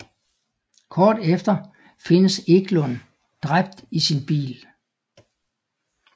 Kort efter findes Eklund dræbt i sin bil